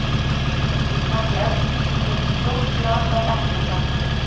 Hún fór fram í eldhús og fyllti stórt glas af eplasafa.